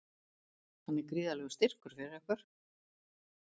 Hann er gríðarlegur styrkur fyrir ykkur?